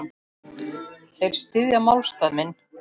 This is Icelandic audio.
Þeir styðja málstað minn.